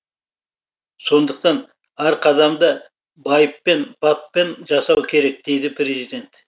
сондықтан әр қадамды байыппен баппен жасау керек дейді президент